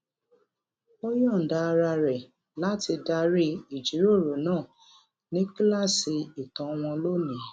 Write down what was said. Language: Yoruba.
ó yòǹda ara rè láti darí ìjíròrò náà ní kíláàsì ìtàn wọn lónìí